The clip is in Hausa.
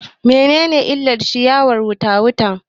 Me ne ne illar ciyawar wuta wuta